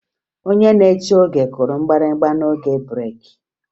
Onye na-eche oge kụrụ mgbịrịgba n'oge breeki